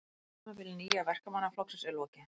Tímabili Nýja Verkamannaflokksins er lokið